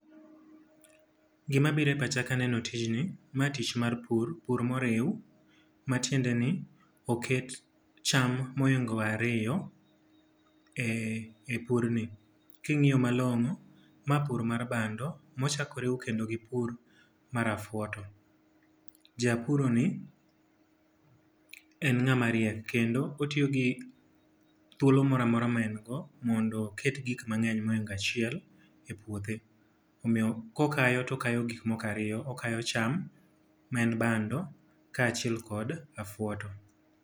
Gima biro e pacha ka aneno tijni, ma tich mar pur. Pur moriw. Matiende ni oket cham ma ohingo ariyo e purni. Ka ingíyo malongó ma pur mar bando, ma ochak oriw kendo gi pur mar afwoto. Japuroni, en ngáma riek, kendo otiyo gi thuolo moro amora ma en go, mondo oket gik ma ohingo achiel e puothe. Omiyo kokayo to okayo gik moko ariyo. Okayo cham ma en bando, ka achiel kod afwoto.